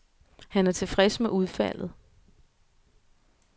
Han er tilfreds med udfaldet.